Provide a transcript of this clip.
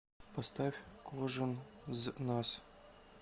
поставь кожен з нас